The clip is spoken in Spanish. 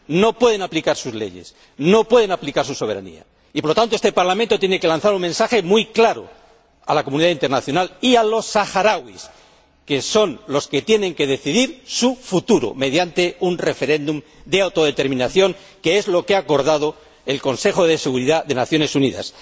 No puede aplicar sus leyes, no puede aplicar su soberanía y, por lo tanto, este Parlamento tiene que lanzar un mensaje muy claro a la comunidad internacional y a los saharauis, que son los que tienen que decidir su futuro mediante un referéndum de autodeterminación, que es lo que ha acordado el Consejo de Seguridad de las Naciones Unidas.